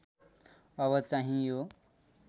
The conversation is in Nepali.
अब चाहिँ यो